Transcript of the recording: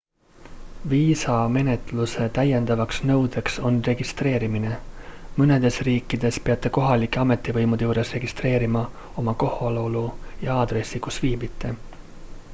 viisamenetluse täiendavaks nõudeks on registreerimine mõnedes riikides peate kohalike ametivõimude juures registreerima oma kohalolu ja aadressi kus viibite